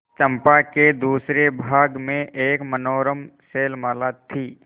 चंपा के दूसरे भाग में एक मनोरम शैलमाला थी